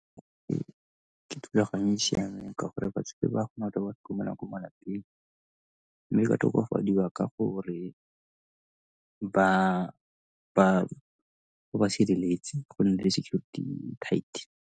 E, ke thulaganyo e e siameng ka gore batsadi ba kgona go ko malapeng mme ba tokafadiwa ka gore ba ba sireletse go nne le security e tight.